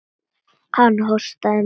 Hann hóstaði mikið.